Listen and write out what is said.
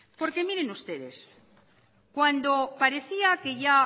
miren ustedes cuando parecía que ya